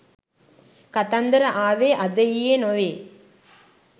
කතන්දර ආවේ අද ඊයේ නොවේ.